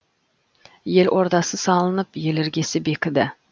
ел ордасы салынып ел іргесі бекіді